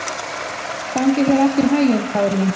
Gangi þér allt í haginn, Kaðlín.